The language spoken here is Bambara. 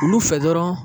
Olu fɛ dɔrɔn